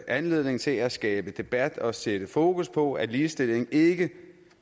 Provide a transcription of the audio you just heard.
anledning til at skabe debat og sætte fokus på at ligestilling ikke